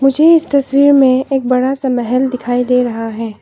मुझे इस तस्वीर में एक बड़ा सा महल दिखायी दे रहा है।